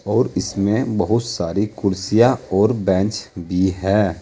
और इसमें बहुत सारी कुर्सियां और बेंच भी हैं।